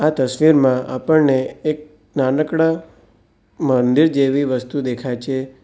તસવીરમાં આપણને એક નાનકડા મંદિર જેવી વસ્તુ દેખાય છે.